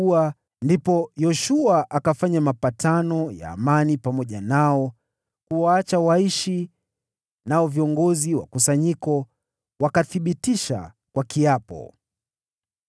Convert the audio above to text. Ndipo Yoshua akafanya mapatano ya amani pamoja nao kuwaacha waishi, nao viongozi wa kusanyiko wakathibitisha kwa kiapo.